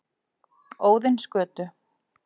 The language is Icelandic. Óðinsgötu